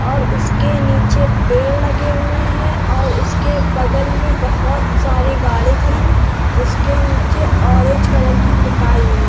और उसके नीचे पेड़ लगे हुए हैं और उसके बगल मैं बहोत सारी गाड़ी खड़ी हुई हैं। उसके नीचे ऑरेंज कलर की पुताई हुई --